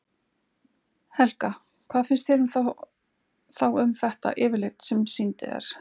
Helga: Hvað finnst þér þá um þetta yfirlit sem ég sýndi þér?